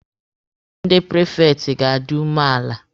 Ndị prifekti ga-adi umeala.